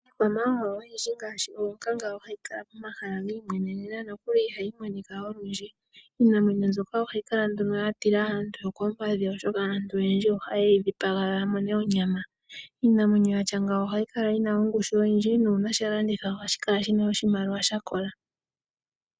Iikwamawawa oyindji ngaashi oonkanga ohayi kala momahala gi imwenena nokuli ihayi monika olundji. Iinamwenyo mbyoka ohayi kala nduno ya tila aantu yokoompadhi, oshoka aantu oyendji ohaye yi dhipaga ya mone onyama. Iinamwenyo ya tya ngeyi ohayi kala yi na ongushu oyindji nuuna sha landithwa ohashi kala shi na oshimaliwa sha kola.